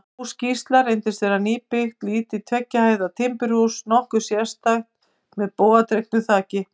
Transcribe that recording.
Hús Gísla reyndist vera nýbyggt, lítið tveggja hæða timburhús, nokkuð sérstætt, með bogadregnu þaki.